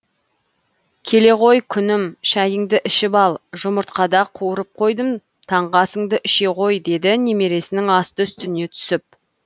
келе ғой күнім шәйіңді ішіп ал жұмыртқада қуырып қойдым таңғы асыңды іше ғой деді немересінің асты үстіне түсіп